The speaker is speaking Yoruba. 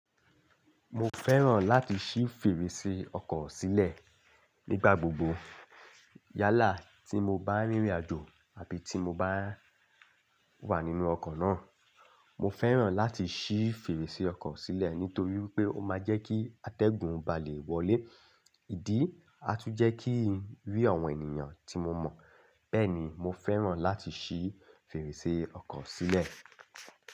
Mo fẹ́ràn láti ṣí fèrèsé ọkọ̀ sílẹ̀ nígbà gbogbo. Yálà tí mo bá rìnrìn àjò àbí tí mo bá wà nínú ọkọ̀ náà, mo fẹ́ràn láti ṣí fèrèsé ọkọ̀ sílẹ̀ nítorí wipé ó máa jẹ́ kí atẹ́gùn bá lè wọlé. Ìdí atú jẹ́ kí n rí àwọn ènìyàn tí mo mọ̀. Bẹ́ẹ̀ni mo fẹ́ràn láti ṣí fèrèsé ọkọ̀ sílẹ̀.